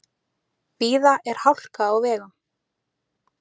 Víða er hálka á vegum.